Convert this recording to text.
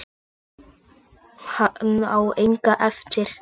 Hann á enga eftir.